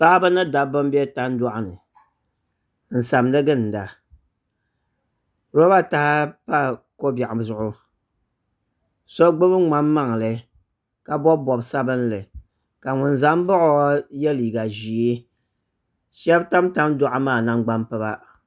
Paɣaba ni dabba n bɛ tandoɣu ni n saɣandi ginda roba taha pa ko biɛɣu zuɣu so gbubi ŋmani maŋli ka bob bob sabinli ka ŋun ʒɛ n baɣa o yɛ liiga ʒiɛ shab tam tandoɣu maa nangbani piba